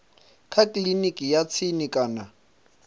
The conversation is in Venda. kha kiliniki ya tsini kana